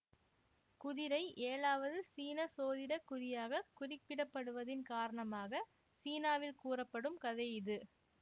குதிரை ஏழாவது சீன சோதிட குறியாக குறிப்பிடப்படுவதின் காரணமாக சீனாவில் கூறப்படும் கதை இது